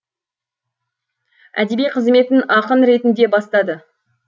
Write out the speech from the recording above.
әдеби қызметін ақын ретінде бастады